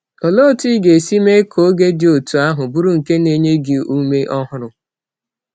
Olee otú ị ga-esi mee ka oge dị otú ahụ bụrụ nke na-enye gị ume ọhụrụ?